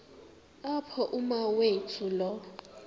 apho umawethu lo